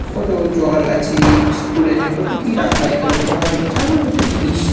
কত জল আছে বিস্কুট আছে। কত কি রাখা এখানে খাওয়ার যাব যত জিনিস ।